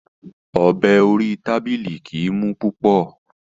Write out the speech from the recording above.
Ọ̀bẹ orí tábìlì kìí mú púpọ̀.